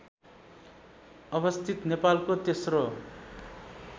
अवस्थित नेपालको तेस्रो